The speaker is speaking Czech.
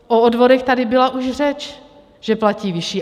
O odvodech tady byla už řeč, že platí vyšší.